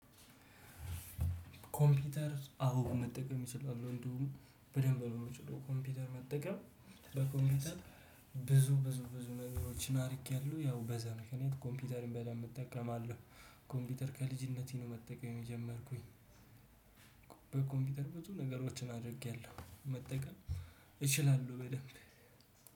ኮምፒተር አዎ መጠቀም እችላለሁ እንደውም በደንብ ነው ምችለው ኮምፒተር መጠቀም በኮምፒተር ብዙ ብዙ ብዙ ነገሮችን አርጌያለሁ ያው በዛ ምክንያት ኮምፒተርን በደንብ እጠቀማለሁ። ኮምፒተር ከልጅነቴ ነው መጠቀም የጀመርኩኝ። በኮምፒተር ብዙ ነገሮችን አድርጌያለሁ መጠቀም እችላለሁ በደንብ